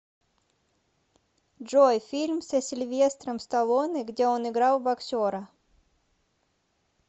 джой фильм со сильвестром сталлоне где он играл боксера